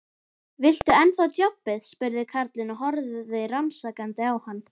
Viltu ennþá djobbið? spurði karlinn og horfði rannsakandi á hann.